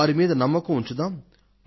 వారి మీద నమ్మకం ఉంచుదాం